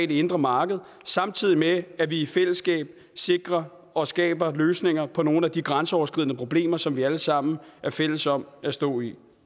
det indre marked samtidig med at vi i fællesskab sikrer og skaber løsninger på nogle af de grænseoverskridende problemer som vi alle sammen er fælles om at stå i